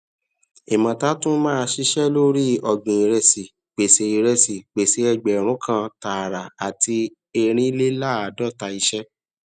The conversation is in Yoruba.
imota tún máa ṣiṣẹ lori ọgbin iresi pèsè iresi pèsè ẹgbẹrun kàn tààrà àti ẹrinlelaadota iṣẹ